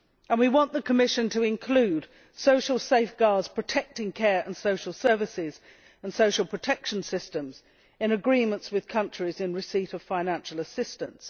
We want the Commission to include social safeguards protecting care and social services and social protection systems in agreements with countries in receipt of financial assistance.